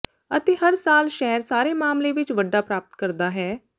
ਅਤੇ ਹਰ ਸਾਲ ਸ਼ਹਿਰ ਸਾਰੇ ਮਾਮਲੇ ਵਿੱਚ ਵੱਡਾ ਪ੍ਰਾਪਤ ਕਰਦਾ ਹੈ